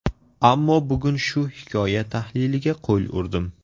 Ammo bugun shu hikoya tahliliga qo‘l urdim.